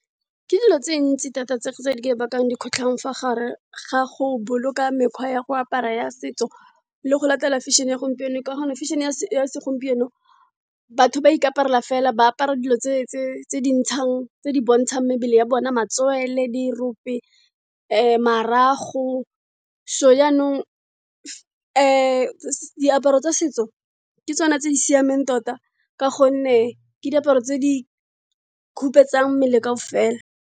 Ke dilo tse di ntsi thata tse di ka bakang dikgotlhang fa gare ga go boloka mekgwa ya go apara ya setso, le go latela fashion-e ya gompieno ka gonne fashion-e ya segompieno batho ba ikaparela fela. Ba apara dilo tse di bontshang mebele ya bona, matswele, di rope, marago. So jaanong diaparo tsa setso ke tsone tse di siameng tota, ka gonne ke diaparo tse di khupetsang mmele ka o fela.